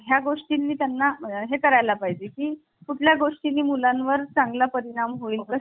या गोष्टी नेत्यांना हे करायला पाहिजे की कुठल्या गोष्टी मुलांवर चांगला परिणाम होईल का